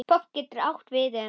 Popp getur átt við um